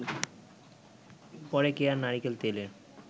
পরে কেয়া নারিকেল তেলের